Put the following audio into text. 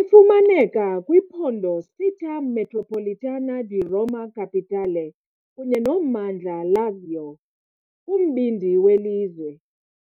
Ifumaneka kwiphondo Città metropolitana di Roma Capitale kunye nommandla Lazio, kumbindi welizwe,